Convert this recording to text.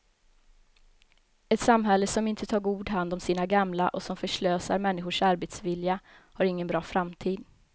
Ett samhälle som inte tar god hand om sina gamla och som förslösar människors arbetsvilja har ingen bra framtid.